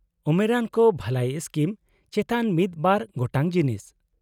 -ᱩᱢᱮᱨᱟᱱ ᱠᱚ ᱵᱷᱟᱹᱞᱟᱹᱭ ᱥᱠᱤᱢ ᱪᱮᱛᱟᱱ ᱢᱤᱫ ᱵᱟᱨ ᱜᱚᱴᱟᱝ ᱡᱤᱱᱤᱥ ᱾